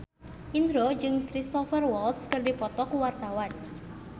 Indro jeung Cristhoper Waltz keur dipoto ku wartawan